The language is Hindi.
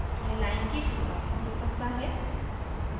यह line की शुरुआत में हो सकता है